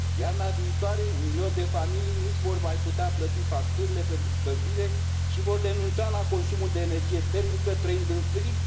Iarna viitoare un milion de familii nu și vor mai putea plăti facturile pentru încălzire și vor renunța la consumul de energie termică, trăind în frig.